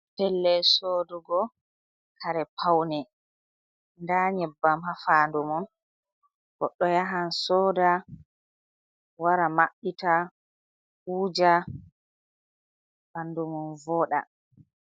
Pellel sodugo kare paune, nda nyebbam ha fandu mon, goɗɗo yahan soda wara mabbita, wuja ɓandumon voɗa.